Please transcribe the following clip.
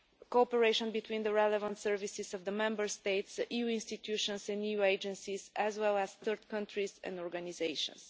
cooperation between the relevant services of the Member States, the EU institutions, the new agencies as well as third countries and organisations.